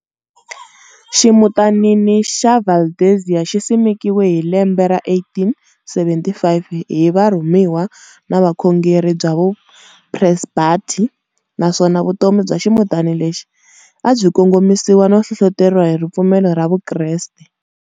Ximutanini xa Valdezia xisimekiwe hi lembe ra 1875 hi Varhumiwa va Vukhongeri bya vu Phresbethari, naswona vutomi bya ximutana lexi abyi kongomisiwa no hlohloteriwa hi ripfumelo ra vukreste.